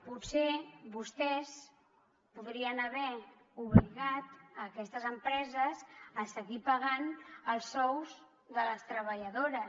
potser vostès podrien haver obligat aquestes empreses a seguir pagant els sous de les treballadores